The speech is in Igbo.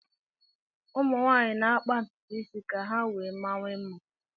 Ụmụ nwaanyị na-akpa ntụtụ isi ha ka ha wee mawanye mma